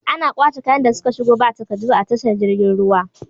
Ana kwace kayan da suka shigo ba takaddu a tashar girgin ruwa